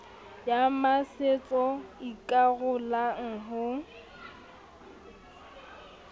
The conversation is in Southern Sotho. ya masetso e ikarolang ho